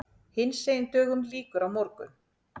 Hinsegin dögum lýkur á morgun.